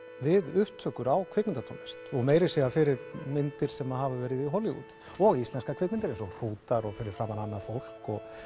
við upptökur á kvikmyndatónlist og meira að segja fyrir myndir sem hafa verið í Hollywood og íslenskar kvikmyndir eins og hrútar og fyrir framan annað fólk